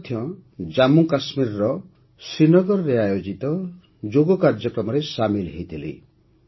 ମୁଁ ମଧ୍ୟ ଜାମ୍ମୁକାଶ୍ମୀରର ଶ୍ରୀନଗରରେ ଆୟୋଜିତ ଯୋଗ କାର୍ଯ୍ୟକ୍ରମରେ ସାମିଲ୍ ହୋଇଥିଲି